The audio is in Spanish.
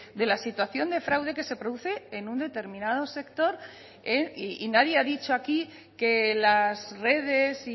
de la situación de fraude que se produce en un determinado sector y nadie ha dicho aquí que las redes